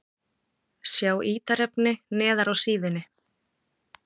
Sjá ítarefni neðar á síðunni